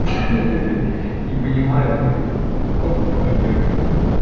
не понимает её мог бы понять